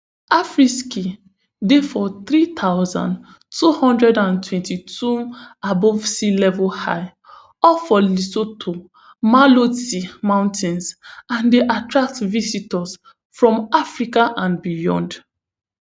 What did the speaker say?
afriski dey for three thousand, two hundred and twenty-twom above sea level high up for lesotho maloti mountains and dey attract visitors from africa and beyond